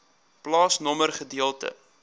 plaasnommer gedeelte